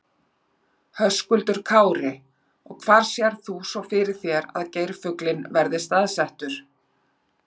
Höskuldur Kári: Og hvar sérð þú svo fyrir þér að geirfuglinn verði staðsettur?